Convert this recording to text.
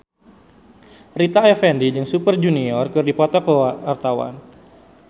Rita Effendy jeung Super Junior keur dipoto ku wartawan